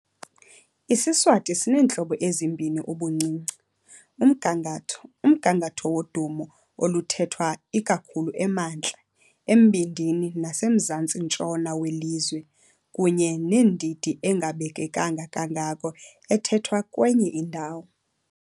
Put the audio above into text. IsiSwati sineentlobo ezimbini ubuncinci- umgangatho, umgangatho wodumo oluthethwa ikakhulu emantla, embindini nasemzantsi-ntshona welizwe, kunye nendidi engabekekanga kangako ethethwa kwenye indawo.